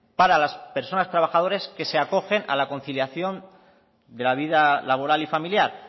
para las personas trabajadoras que se acogen a la conciliación de la vida laboral y familiar